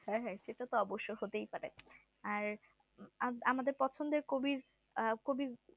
হ্যাঁ হ্যাঁ সেটা তো অবশ্য হতেই পারে আর আমাদের পছন্দের কবির কবি